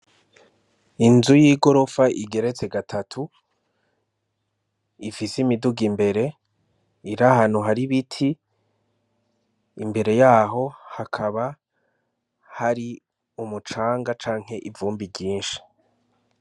Inzu yigorofa igeretse gatatu, ifise imiduga imbere iri ahantu hari ibiti imbere yaho hakaba hari umucanga canke ivumbi ryinshi.